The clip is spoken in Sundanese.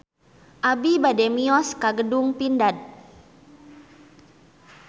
Abi bade mios ka Gedung Pindad